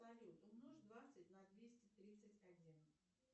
салют умножь двадцать на двести тридцать один